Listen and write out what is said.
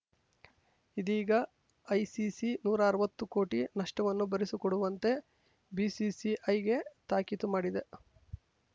ಇದೀಗ ಐಸಿಸಿ ನೂರಾ ಅರ್ವತ್ತು ಕೋಟಿ ನಷ್ಟವನ್ನು ಭರಿಸಿಕೊಡುವಂತೆ ಬಿಸಿಸಿಐಗೆ ತಾಕೀತು ಮಾಡಿದೆ